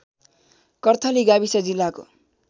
कर्थली गाविस जिल्लाको